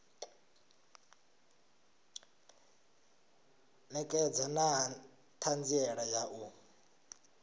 ṋekedza na ṱhanziela ya u